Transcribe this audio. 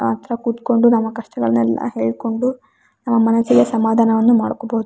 ಹತ್ರ ಕುತ್ಕೊಂಡು ನಮ್ಮ ಕಷ್ಟಗಳನ್ನೆಲ್ಲ ಹೇಳ್ಕೊಂಡು ಮನಸ್ಸಿಗೆ ಸಮಧಾನವನ್ನು ಮಾಡ್ಕೊಬಹುದು.